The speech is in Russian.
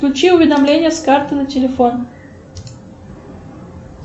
включи уведомление с карты на телефон